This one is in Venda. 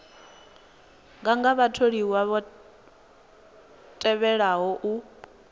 nganga vhatholiwa vha tevhelaho u